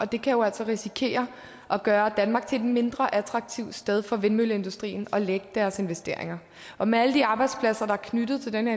det kan jo altså risikere at gøre danmark til et mindre attraktivt sted for vindmølleindustrien at lægge deres investeringer og med alle de arbejdspladser der er knyttet til den